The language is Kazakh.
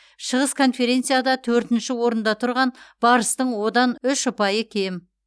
шығыс конференцияда төртінші орында тұрған барыстың одан үш ұпайы кем